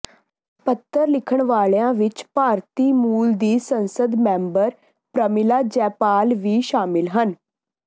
ਪੱਤਰ ਲਿਖਣ ਵਾਲਿਆਂ ਵਿੱਚ ਭਾਰਤੀ ਮੂਲ ਦੀ ਸੰਸਦ ਮੈਂਬਰ ਪ੍ਰਮਿਲਾ ਜੈਪਾਲ ਵੀ ਸ਼ਾਮਿਲ ਹਨ